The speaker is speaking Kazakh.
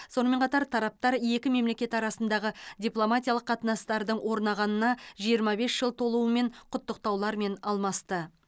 сонымен қатар тараптар екі мемлекет арасындағы дипломатиялық қатынастардың орнағанына жиырма бес жыл толуымен құттықтаулармен алмасты